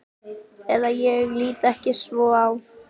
Eða ég lít ekki svo á.